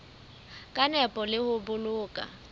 ka nepo le ho boloka